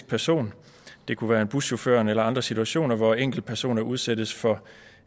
person det kunne være buschauffører eller i andre situationer hvor enkeltpersoner udsættes for